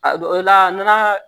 A dɔw la n'a